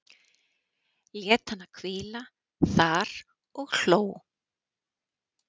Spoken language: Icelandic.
Lét hana hvíla þar og hló.